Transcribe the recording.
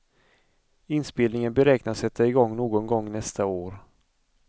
Inspelningen beräknas sätta igång någon gång nästa år.